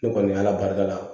Ne kɔni ala barika la